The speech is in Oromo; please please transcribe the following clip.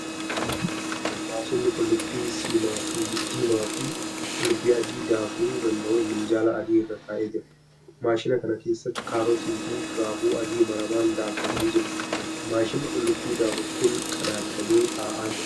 Maashinni qulluubii siimaa fi qullubbii adii daakuu danda'u minjaal adii irra taa'ee jira. Maashina kana keessatti kaarootii fi raafuu adii maramaan daakamanii jiru . Maashinni qullubbii daaku kun qadaadamee taa'aa jira.